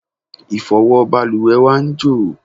ìfọwọ́ ìbalùwẹ̀ wa ń jò